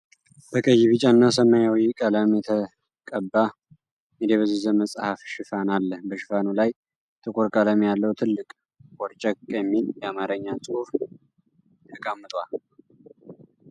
በቀይ፣ ቢጫ እና ሰማያዊ ቀለም የተቀባ የደበዘዘ መጽሐፍ ሽፋን አለ። በሽፋኑ ላይ ጥቁር ቀለም ያለው ትልቅ “ቦርጨቅ!” የሚል የአማርኛ ጽሑፍ ተቀምጧል።